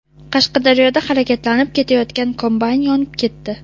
Qashqadaryoda harakatlanib ketayotgan kombayn yonib ketdi.